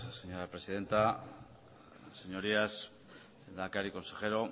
señora presidenta señorías lehendakari consejero